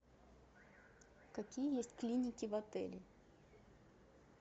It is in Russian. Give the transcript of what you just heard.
какие есть клиники в отеле